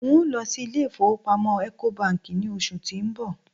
n o lọ sí ilé ifowópamọ́ eco Bank ni oṣù ti n bọ̀